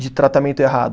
de tratamento errado.